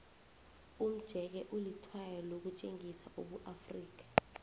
umjeke ulitshwayo lokutjengisa ubuafrika